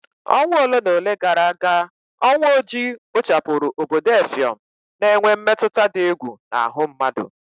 Ọnwa ole na ole gara aga, ọnwụ ojii kpochapụrụ obodo effium, na-enwe mmetụta dị egwu n'ahụ mmadụ